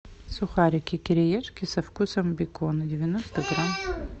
сухарики кириешки со вкусом бекона девяносто грамм